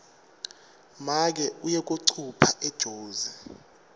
make uye kuyocupha ejozi